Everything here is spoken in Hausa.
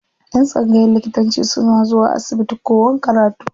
Yan tsangayan likitanci suna zuwa asibiti kowan karatu.